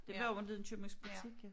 Det var jo inte en købmandsbutik